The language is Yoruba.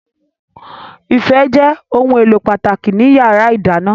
Ife jẹ́ ohun èlò pàtàkì ní yàrá ìdáná